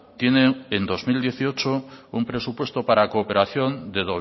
tiene en dos mil dieciocho un presupuesto para cooperación de